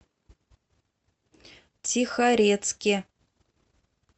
тихорецке